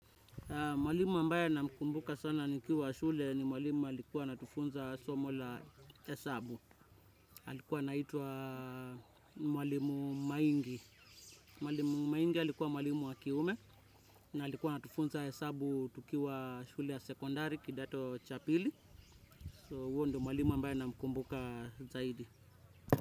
Mwalimu ambaye namkumbuka sana nikiwa shule, ni mwalimu alikuwa anatufunza somo la hesabu. Alikuwa anaitwa mwalimu Maingi. Mwalimu Maingi alikuwa mwalimu wa kiume na alikuwa atufunza hesabu tukiwa shule ya sekondari kidato cha pili. So uhondo mwalimu ambaye namkumbuka zaidi.